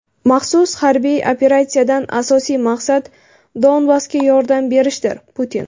"Maxsus harbiy operatsiya"dan asosiy maqsad Donbassga yordam berishdir – Putin.